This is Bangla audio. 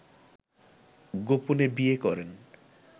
গোপনে বিয়ে করেন